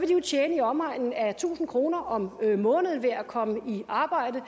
jo tjene i omegnen af tusind kroner om måneden ved at komme i arbejde